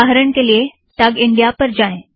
उदाहरण के लिए - टग इंड़िया पर जाएं